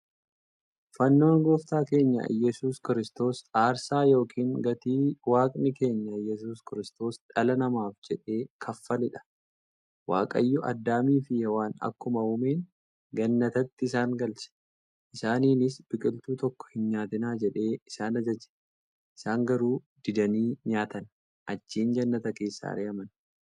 Fannoon gooftaa keenya iyyasuus Kiristoos aarsaa yookiin gatii waaqni keenya iyyasuus Kiristoos dhala namaaf jedhee kaffaleedha. Waaqayyoo Adaamiifi Hewaan akkuma uumeen gannatatti isaan galche. Isaaninis biqiltuu tokko hinnyaatinaa jedhee isaan ajaaje. Isaan garuu didanii nyaatan. Achiin jannata keessaa ari'aman.